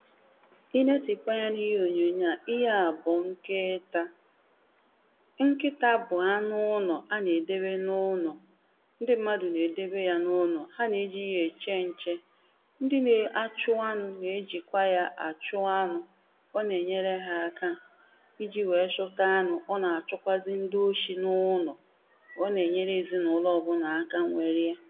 I notikwa ya na ihe onyonyo à ihe a bụ nkịịtà nkịta bụ anụ ụnọ̀ a na-edewe na ụnọ̀ ndị mmadụ na-edebe ya na ụnọ̀ ha na-eji ya eche nche ndị na-achụ anụ na-eji kwa ya achụ anụ ọ na-enyere ha aka iji wee chụta anụ ọ na-achụkwazị ndị oshi na ụnọ ọ na-enyere ezinaụlọ ọbụna aka nwere ya